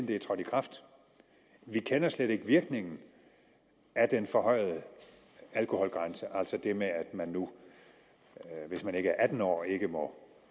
det er trådt i kraft vi kender slet ikke virkningen af den forhøjede alkoholgrænse altså det med at man nu hvis man ikke er atten år ikke må